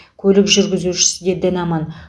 көлік жүргізушісі де дін аман